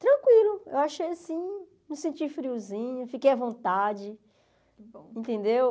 Tranquilo, eu achei assim, não senti friozinho, fiquei à vontade, entendeu?